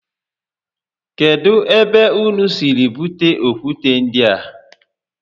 Kedu ebe ụnụ siri bute okwute ndịa?